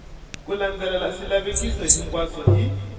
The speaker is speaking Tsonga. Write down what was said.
ku landzelela swilaveko hinkwaswo hi